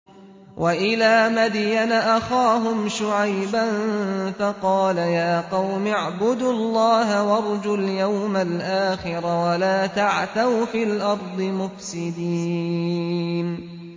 وَإِلَىٰ مَدْيَنَ أَخَاهُمْ شُعَيْبًا فَقَالَ يَا قَوْمِ اعْبُدُوا اللَّهَ وَارْجُوا الْيَوْمَ الْآخِرَ وَلَا تَعْثَوْا فِي الْأَرْضِ مُفْسِدِينَ